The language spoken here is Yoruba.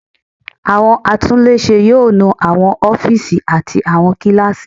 Àwọn atúnlé ṣe yóò nu àwọn ófíìsì àti àwọn kíláàsì.